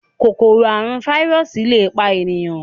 Kòkòrò àrùn fáírọọsì lẹ pá ènìyàn.